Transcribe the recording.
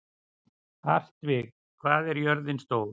Hartvig, hvað er jörðin stór?